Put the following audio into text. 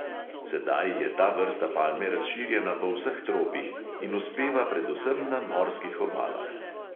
Sedaj je ta vrsta palme razširjena po vseh tropih in uspeva predvsem na morskih obalah.